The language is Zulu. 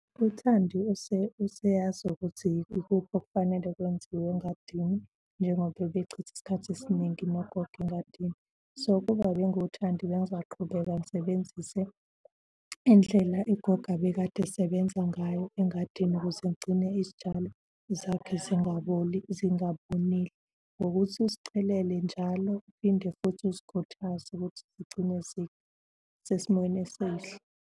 UThandi useyazi ukuthi ikuphi okufanele kwenziwe engadini, njengoba ebechitha isikhathi esiningi nogogo engadini. So, kuba bengiwuThandi bengizoqhubeka ngisebenzise indlela ugogo abekade esebenza ngayo engadini ukuze agcine izitshalo zakhe zingaboli zingabunile ngokuthi uzichelele njalo uphinde futhi uzikhuthaze ukuthi zigcine zisesimweni esihle.